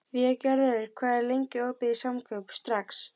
Végerður, hvað er lengi opið í Samkaup Strax?